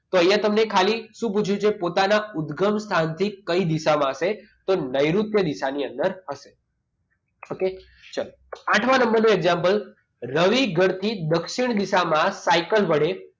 તો અહીંયા તમને ખાલી શું પૂછ્યું છે પોતાના ઉદ્ગમ સ્થાનથી કઈ દિશામાં હશે તો નેઋત્ય દિશાની અંદર હશે okay ચાલો આઠમા નંબરનો example રવિ ઘરથી દક્ષિણ દિશામાં સાયકલ વડે